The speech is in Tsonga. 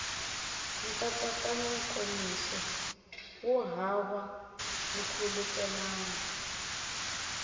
nkatsakanyo nkomiso wu hava nkhulukelano